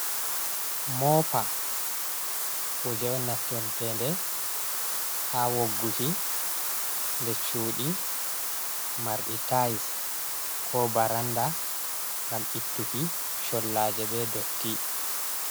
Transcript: Mopa, Kuje on Naftirteɗe Ha Wogguki, Ɗer Cuɗi Marɗi Tais Ko Ɓaranɗa Gam Ittuki Collaje Ɓe Ɗotti